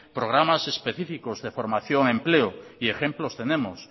programas específicos de formación de empleo y ejemplos tenemos